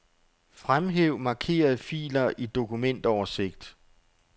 Fremhæv markerede filer i dokumentoversigt.